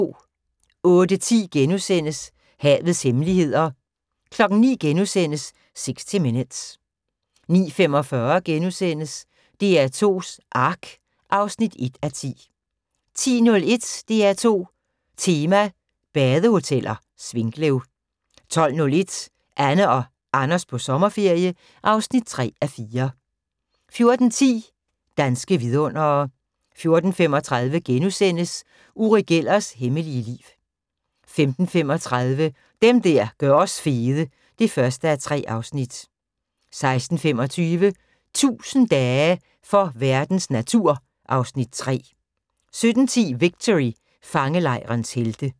08:10: Havets hemmeligheder * 09:00: 60 Minutes * 09:45: DR2s Ark (1:10)* 10:01: DR2 Tema: Badehoteller - Svinkløv 12:01: Anne og Anders på sommerferie (3:4) 14:10: Danske vidundere 14:35: Uri Gellers hemmelige liv * 15:35: Dem der gør os fede (1:3) 16:25: 1000 dage for verdens natur (Afs. 3) 17:10: Victory – Fangelejrens helte